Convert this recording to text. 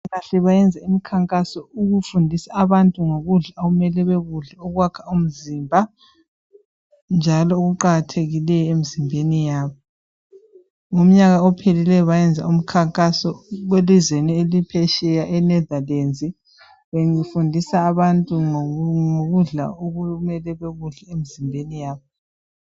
Kahle beyenze umkhankaso ngokuthi bafundise abantu ngokudla okufuze bakudle njalo okuqakathekileyo emzimbeni yabo, ngomnyaka ophelileyo bayenza umkhankaso elizweni leNeithalands befundisa abantu ngokudla okumele bekudle emzimbeni yabo.